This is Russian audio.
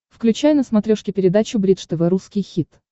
включай на смотрешке передачу бридж тв русский хит